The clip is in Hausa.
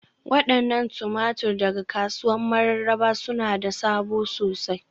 Wadannan tumatur daga kasuwar Mararaba suna da sabo sosai.